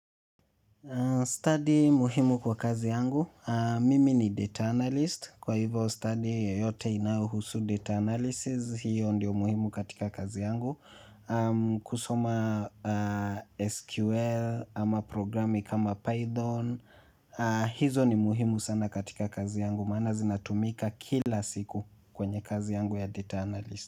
Stadi muhimu kwa kazi yangu. Mimi ni data analyst. Kwa hivyo study yote inayohusu data analysis. Hiyo ndio muhimu katika kazi yangu. Kusoma SQL ama programi kama Python. Hizo ni muhimu sana katika kazi yangu. Maana zinatumika kila siku kwenye kazi yangu ya data analyst.